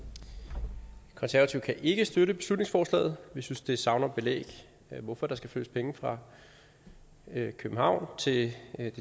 de konservative kan ikke støtte beslutningsforslaget vi synes det savner belæg for hvorfor der skal flyttes penge fra københavn til de